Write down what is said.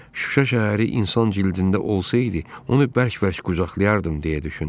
Şuşa şəhəri insan cildində olsaydı, onu bərk-bərk qucaqlayardım, – deyə düşündüm.